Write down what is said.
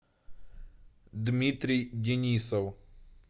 дмитрий денисов